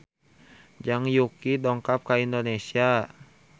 Zhang Yuqi dongkap ka Indonesia